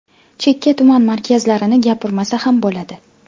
Chekka tuman markazlarini gapirmasa ham bo‘ladi.